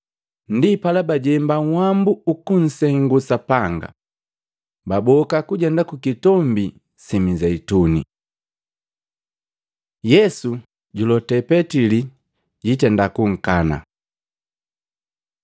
Ndipala bajemba nhwambu ukunsengu Sapanga, baboka kujenda ku Kitombi si Mizeituni. Yesu julote Petili pajankana Matei 26:31-35; Luka 22:31-34; Yohana 13:36-38